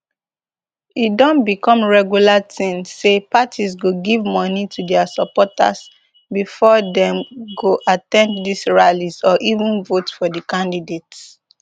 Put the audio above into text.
e don become regular tin say parties go give moni to dia supporters bifor dem go at ten d dis rallies or even vote for di candidates